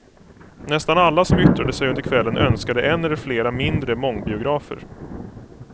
Nästan alla som yttrade sig under kvällen önskade en eller flera mindre mångbiografer.